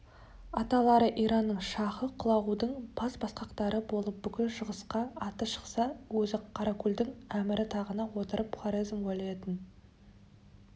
аталары иранның шахы құлағудың бас басқақтары болып бүкіл шығысқа аты шықса өзі қаракөлдің әмірі тағына отырып хорезм уәлиетін